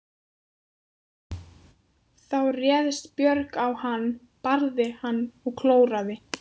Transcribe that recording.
Þá réðst Björg á hann, barði hann og klóraði.